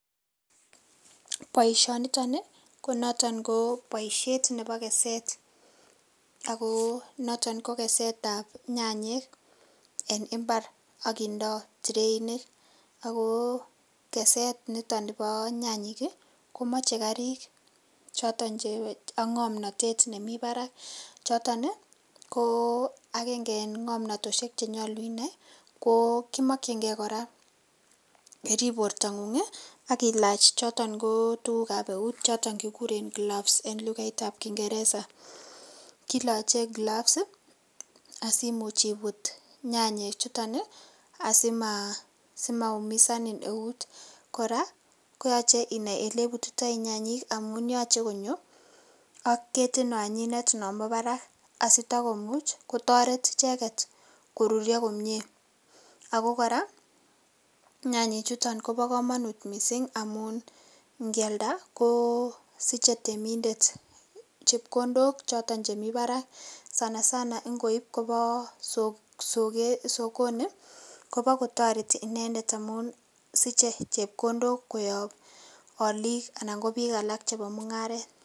Boisioni nitoon ii ko notoon boisiet nebo keset ago notoon ko keset ab nyanyek en mbar agindaa trainik ako keset nitoon bo nyanyiik ii komachei kariik chotoon che ak ngamnatet nemii baraak chotoon ii ko agenge eng ngonatosiek cheimakyinigei ii kora iriip borto nguung chotoon ko tuguuk ab eut chotoon kiguren gloves en lugait ab ingereza kilachei [gloves asimuuch ibuut nyanyek chutoon ii asima umisanin neut kora koyachei inai Ile butitoi nyanyiik amuun yachei kora konyoo ak ketiit naan nyinet nebo barak asita komuuch kotaretii ichegeet koruria komyei ako kora nyanyiik chutoon kobaa kamanut missing amuun ingialda ko siche temindet chepkondook chotoon chemii Barak sana sana ingoib kobaa sokoni ii koba kotaretii inendet amuun suchei chepkondook koyaap aliik anan ko biik alaak chebo mungaret.